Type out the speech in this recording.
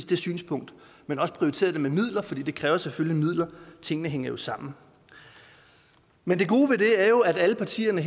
det synspunkt men også prioriteret det med midler fordi det kræver jo selvfølgelig midler tingene hænger jo sammen men det gode ved det er jo at alle partierne